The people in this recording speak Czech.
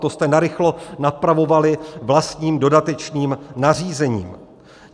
To jste narychlo napravovali vlastním dodatečným nařízením.